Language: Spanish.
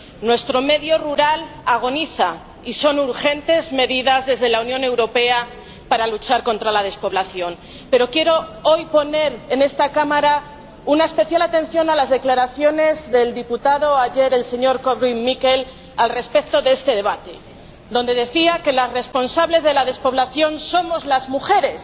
Nuestro medio rural agoniza y son urgentes medidas desde la Unión Europea para luchar contra la despoblación. Pero quiero hoy poner en esta Cámara una especial atención a las declaraciones de ayer del señor diputado Korwin Mikke respecto a este debate, en las que decía que las responsables de la despoblación somos las mujeres.